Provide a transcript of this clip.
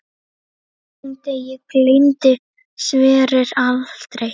Þessum degi gleymdi Sverrir aldrei.